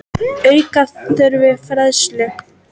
Auka þurfi fræðslu.